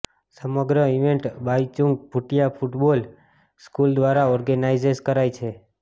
સમગ્ર event Baichung Bhutia football school દ્વારા organise કરાઈ છે